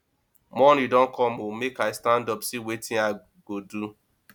morning don come oo make i stand up see wetin i go do